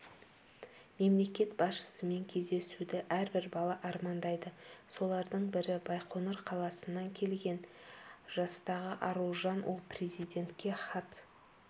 мемлекет басшысымен кездесуді әрбір бала армандайды солардың бірі байқоңыр қаласынан келген жастағы аружан ол президентке хат